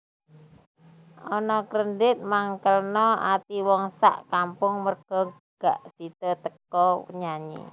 Anna Kendrick mangkelno ati wong sak kampung merga gak sido teko nyanyi